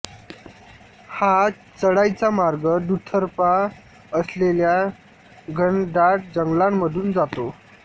हा चढाईचा मार्ग दुतर्फा असलेल्या घनदाट जंगलामधून जातो